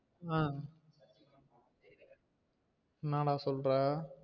ஆஹ் என்னடா சொல்ற?